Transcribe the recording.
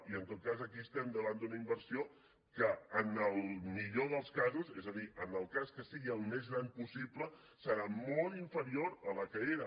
i en tot cas aquí estem davant d’una inversió que en el millor dels casos és a dir en el cas que sigui el més gran possible serà molt inferior a la que era